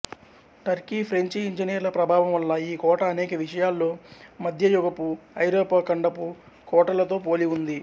Turkey French ఇంజనీర్ల ప్రభావం వల్ల ఈ కోట అనేక విషయాల్లో మధ్యయుగపు ఐరోపా ఖండపు కోటలతో పోలి ఉంది